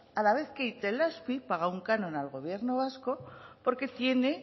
a la vez que itelazpi paga un canon al gobierno vasco porque tiene